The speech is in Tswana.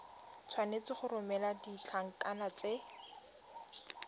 tshwanetse go romela ditlankana tse